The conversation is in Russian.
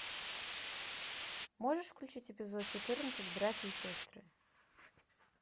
можешь включить эпизод четырнадцать братья и сестры